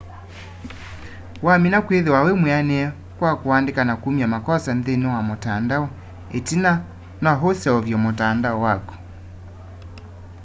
wamina kwithiwa wimwianie kwa kuandika na kumya makosa nthini wa mutandao itina no useuvye mutandao waku